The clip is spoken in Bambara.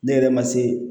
Ne yɛrɛ ma se